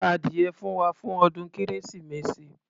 Ra ádìyẹ fún wa, fún ọdún kérésìmesì.